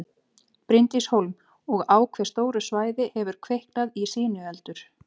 Bryndís Hólm: Og á hve stóru svæði hefur kviknað í sinueldur?